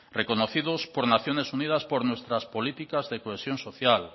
reconocidos por naciones unidas por nuestras políticas de cohesión social